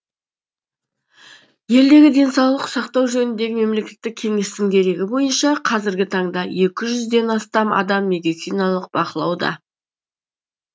елдегі денсаулық сақтау жөніндегі мемлекеттік кеңестің дерегі бойынша қазіргі таңда екі жүзден астам адам медициналық бақылауда